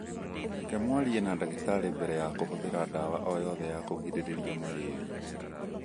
Reke mwarie na ndagĩtarĩ mbere ya kũhũthĩra ndawa o yothe ya kũgirĩrĩria malaria.